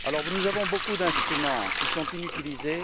Nous avons beaucoup d'instruments qui sont inutilisés.